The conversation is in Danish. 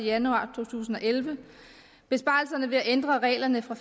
januar to tusind og elleve besparelserne ved at ændre reglerne fra